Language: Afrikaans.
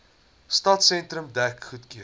stadsentrum dek goedgekeur